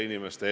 Punkt üks.